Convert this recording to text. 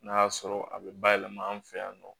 N'a y'a sɔrɔ a bɛ ba yɛlɛma an fɛ yan nɔ